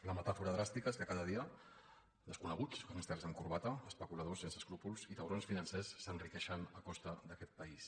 la metàfora dràstica és que cada dia desconeguts gàngsters amb corbata especuladors sense escrúpols i taurons financers s’enriqueixen a costa d’aquest país